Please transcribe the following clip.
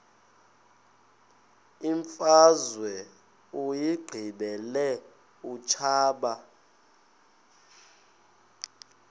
imfazwe uyiqibile utshaba